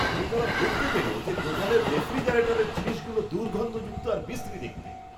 ক্রেতারা দেখতে পেল যে, দোকানের রেফ্রিজারেটরের জিনিসগুলো দুর্গন্ধযুক্ত আর বিশ্রী দেখতে।